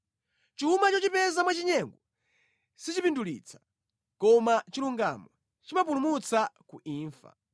Chuma chochipeza mwachinyengo sichipindulitsa, koma chilungamo chimapulumutsa ku imfa.